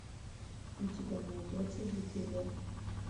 у тебя найдется дефиле